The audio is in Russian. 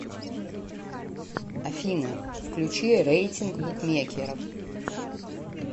афина включи рейтинг букмекеров